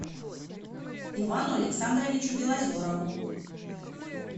ивану александровичу белозерову